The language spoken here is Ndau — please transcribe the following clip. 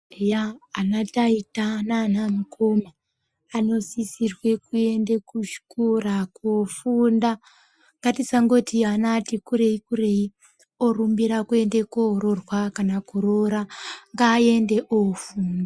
Eya ana taita nana mukoma anosisirwa kuenda kuchikora koofunda ngatisangoti ana ati kurei kurei orumbira kuenda koororwa kana kuroora ngaaende ofunda.